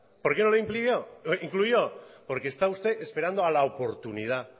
por qué no lo incluyó porque estaba usted esperando a la oportunidad